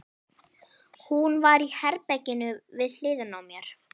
Hún var í herberginu við hliðina á mér.